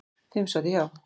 Fimm sátu hjá.